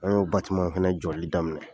An y'o fɛnɛ jɔli daminɛ.